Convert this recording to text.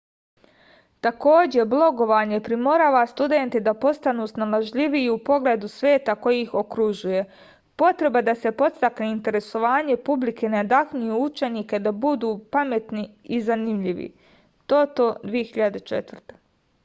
такође блоговање приморава студенте да постану сналажљивији у погледу света који их окружује”. потреба да се подстакне интересовање публике надахњује ученике да буду паметни и занимљиви тото 2004